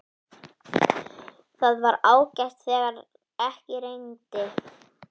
Það var ágætt þegar ekki rigndi.